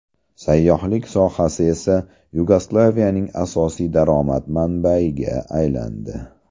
Sayyohlik sohasi esa Yugoslaviyaning asosiy daromad manbayiga aylandi.